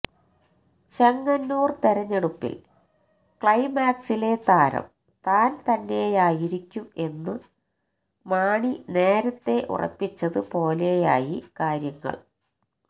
ചെങ്ങന്നൂർ തെരഞ്ഞെടുപ്പിൽ ക്ലൈമാക്സിലെ താരം താൻ തന്നെയായിരിക്കും എന്നു മാണി നേരത്തെ ഉറപ്പിച്ചത് പോലെയായി കാര്യങ്ങൾ